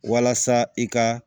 Walasa i ka